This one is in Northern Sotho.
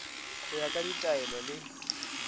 go ya ka ditaelo le